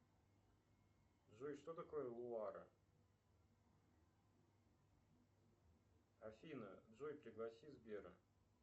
джой что такое луара афина джой пригласи сбера